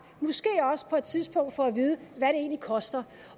på et tidspunkt få at vide hvad det egentlig koster